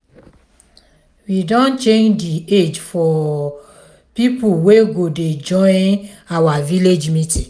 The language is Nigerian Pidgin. we don change the age for people wey go dey join our village meeting